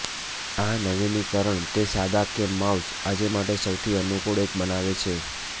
આ નવીનીકરણ તે સાદા કે માઉસ આજે માટે સૌથી અનુકૂળ એક બનાવે છે